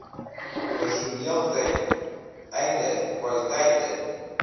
personeelten einde kwaliteiten